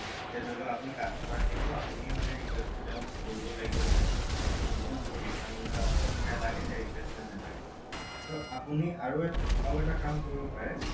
এতিয়া ধৰি লওঁক আপুনি customer যিহেতু আপুনিয়ে মানে request টো তেওঁক কৰিব লাগিব যে মোক বস্তুটো refund লাগে replacement নালাগে so আপুনি আৰু এটা কাম কৰিব পাৰে